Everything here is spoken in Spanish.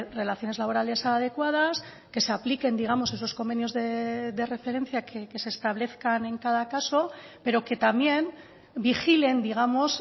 relaciones laborales adecuadas que se apliquen digamos esos convenios de referencia que se establezcan en cada caso pero que también vigilen digamos